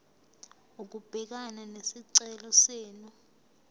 ukubhekana nesicelo senu